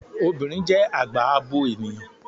Obìnrin jẹ́ àgbà abo ènìyàn